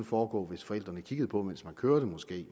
foregå hvis forældrene kiggede på mens man kørte måske